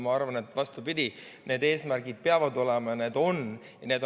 Ma arvan, vastupidi, et need eesmärgid peavad olema ja need on.